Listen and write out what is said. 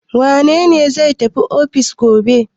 Wane ne zai tafi ofis gobe?